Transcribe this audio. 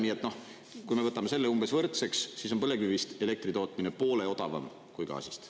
Nii et, kui me võtame selle umbes võrdseks, siis on põlevkivist elektri tootmine poole odavam kui gaasist.